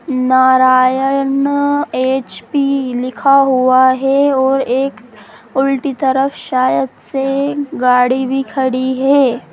Narayan HP पी लिखा हुआ है और एक उलटी तरफ शायद से गाड़ी भी खड़ी है।